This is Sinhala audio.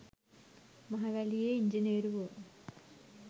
මහවැලියේ ඉංජිනේරුවො